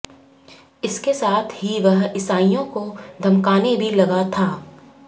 इसके साथ ही वह ईसाइयों को धमकाने भी लगा था